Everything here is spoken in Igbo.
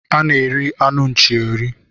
A na-eri anụ nchi eri.